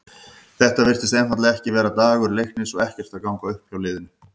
Þetta virtist einfaldlega ekki vera dagur Leiknis og ekkert að ganga upp hjá liðinu.